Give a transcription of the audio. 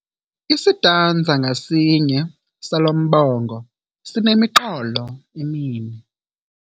Isitanza ngasinye salo mbongo sinemiqolo emine.